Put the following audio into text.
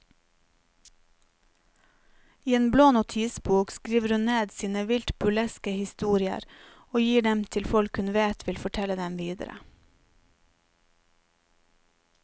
I en blå notisbok skriver hun ned sine vilt burleske historier og gir dem til folk hun vet vil fortelle dem videre.